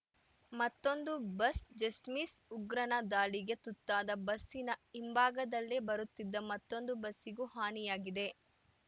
ಮತ್ತೊಂದು bus just miss ಉಗ್ರನ ದಾಳಿಗೆ ತುತ್ತಾದ ಬಸ್‌ನ ಹಿಂಭಾಗದಲ್ಲೇ ಬರುತ್ತಿದ್ದ ಮತ್ತೊಂದು ಬಸ್ಸಿಗೂ ಹಾನಿಯಾಗಿದೆ